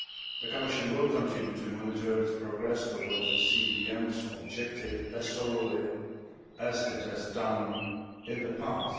The Commission will continue to monitor its progress towards the CVM's objective as thoroughly as it has done in the past.